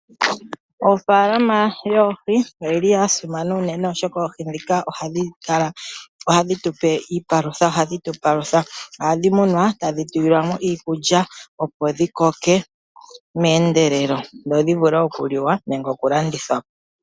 Ofaalama yoohi oyili yasimana unene oshoka oihi ndhika ohayi tupe iipalutha ohashi tu palutha. Ohadhi munwa tadhi pewa iikulya, opo dhi koke meendelelo dho dhi vule okuliwa nenge okulandithwa.